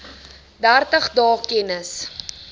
dertig dae kennis